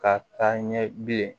Ka taa ɲɛ bilen